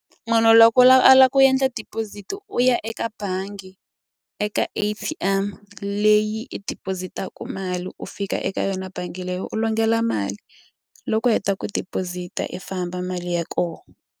Munhu loko u lava a lava ku endla deposit u ya eka bangi eka A_T_M leyi i deposit-aka mali u fika eka yona bangi leyi u longela mali loko u heta ku deposit-a i famba mali ya kona.